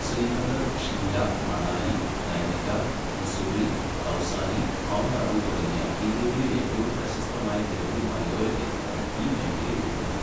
Srinagar, Shimla, Manali, Nainital, Mussoorie, Kausani, mount Abu തുടങ്ങിയ ഇന്ത്യയിലെ ഏറ്റവും പ്രശസ്തമായ നിരവധി മലയോര കേന്ദ്രങ്ങൾ ഈ മേഖലയിൽ ഉൾപ്പെടുന്നു.